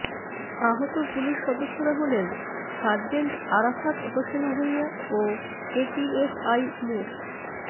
আহত পুলিশ সদস্যরা হলেন সার্জেন্ট আরাফাত হোসেন ভূঁইয়া ও এটিএসআই মো